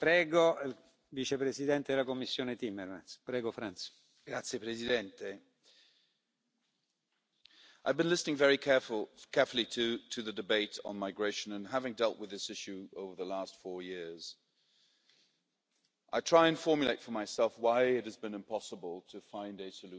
Mr President, I have been listening very carefully to the debate on migration, and having dealt with this issue over the last four years, I try to formulate for myself why it has been impossible to find a solution so far at the European level.